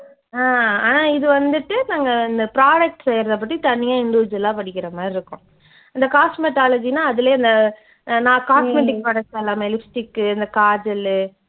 அஹ் ஆனா இது வந்துட்டு நாங்க இந்த products செய்றதை பத்தி தனியா individual ஆ படிக்கிற மாதிரி இருக்கும். இந்த cosmetology ன்னா அதுலயே அந்த அஹ் நான் cosmetic products எல்லாமே lipstick உ இந்த kaajal உ